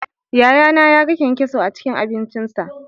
Yayana yaga kyankyaso a cikin abincinsa